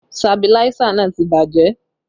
Sabiláísà náà ti bàjẹ́